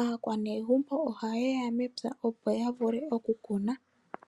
aakwanegumbo ohaye ya mepya opo ya vule okukuna.